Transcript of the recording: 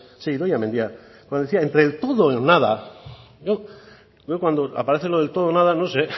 sí idoia mendia cuando decía entre el todo o el nada yo cuando aparece lo del todo o nada no